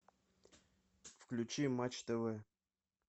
включи матч тв